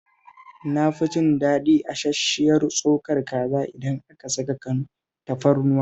Na fi jin daɗin asash-shiyar tsokar kaza idan aka saka tafarnuwa